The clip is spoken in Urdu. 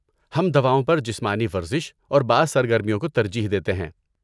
ہم دواؤں پر جسمانی ورزش اور بعض سرگرمیوں کو ترجیح دیتے ہیں۔